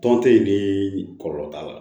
Tɔn te yen ni kɔlɔlɔ t'a la